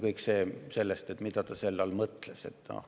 Kõik sõltub ju sellest, mida ta selle all mõtles.